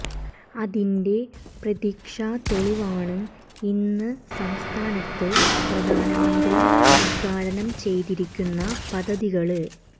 അതിന്റെ പ്രത്യക്ഷ തെളിവാണ് ഇന്ന് സംസ്ഥാനത്ത് പ്രധാനമന്ത്രി ഉത്ഘാടനം ചെയ്തിരിക്കുന്ന പദ്ധതികള്